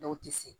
Dɔw tɛ se